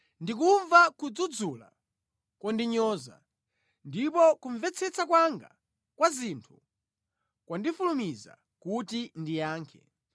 Ndikumva kudzudzula kondinyoza, ndipo kumvetsetsa kwanga kwa zinthu kwandifulumiza kuti ndiyankhe.